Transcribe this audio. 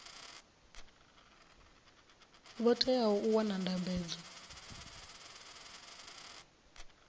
vho teaho u wana ndambedzo